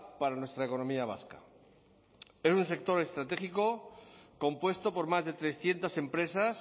para nuestra economía vasca es un sector estratégico compuesto por más de trescientos empresas